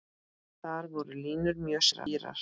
Þar voru línur mjög skýrar.